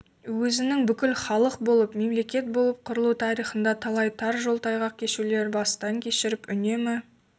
өзінің бүкіл халық болып мемлекет болып құрылу тарихында талай тар жол тайғақ кешулерді басынан кешіріп үнемі